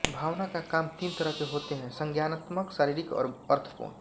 भावना का काम तीन तरह के होते है संज्ञानात्मक शारीरिक और अर्थपूर्ण